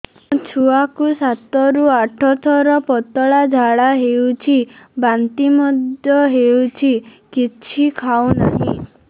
ମୋ ଛୁଆ କୁ ସାତ ରୁ ଆଠ ଥର ପତଳା ଝାଡା ହେଉଛି ବାନ୍ତି ମଧ୍ୟ୍ୟ ହେଉଛି କିଛି ଖାଉ ନାହିଁ